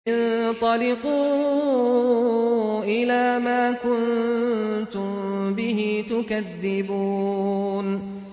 انطَلِقُوا إِلَىٰ مَا كُنتُم بِهِ تُكَذِّبُونَ